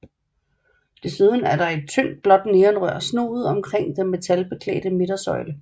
Desuden er der et tyndt blåt neonrør snoet omkring den metalbeklædte midtersøjle